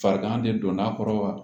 Farigan de donna a kɔrɔ wa